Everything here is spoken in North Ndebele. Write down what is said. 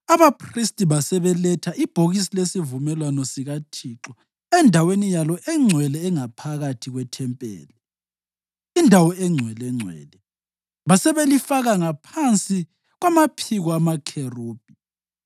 Abaphristi basebeletha ibhokisi lesivumelwano sikaThixo endaweni yalo engcwele engaphakathi kwethempeli, iNdawo eNgcwelengcwele, basebelifaka ngaphansi kwamaphiko amakherubhi.